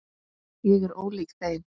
Ég er ólík þeim.